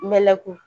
Mɛnɛkun